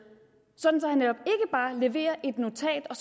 sådan at leverer et notat og